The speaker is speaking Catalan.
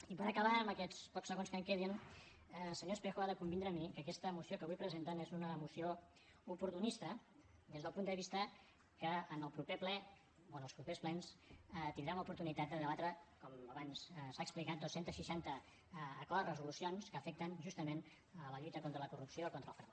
i per acabar amb aquests pocs segons que em queden senyor espejo ha de convindre amb mi que aquesta moció que avui presenten és una moció oportunista des del punt de vista que en el proper ple o en els propers plens tindrem l’oportunitat de debatre com abans s’ha explicat dos cents i seixanta acords resolucions que afecten justament la lluita contra la corrupció i contra el frau